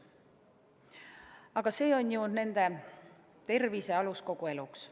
Aga see on ju nende tervise alus kogu eluks.